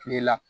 Kile la